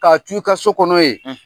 K'a t' u ka so kɔnɔ yen